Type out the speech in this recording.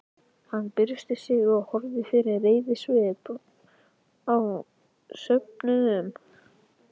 Hann byrsti sig og horfði með reiðisvip á söfnuðinn.